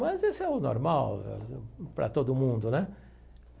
Mas esse é o normal para todo mundo, né?